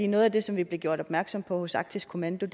noget af det som vi blev gjort opmærksom på hos arktisk kommando